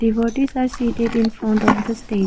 devotees are seated infront of the stage.